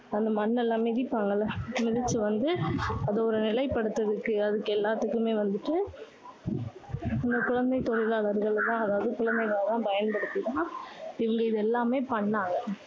அந்த மண் எல்லாம் மிதிப்பாங்கல்ல. மிதிச்சு வந்து அதை ஒரு நிலைப்படுத்துறதுக்கு அதுக்கு எல்லாத்துக்குமே வந்துட்டு இந்த குழந்தை தொழிலாளர்களை தான், அதாவது குழந்தைகளை தான் பயன்படுத்தி தான், இவங்க இது எல்லாமே பண்ணாங்க.